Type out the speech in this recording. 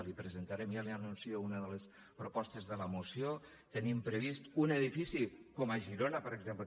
li presentarem ja li anuncio una de les propostes de la moció tenim previst un edifici com a girona per exemple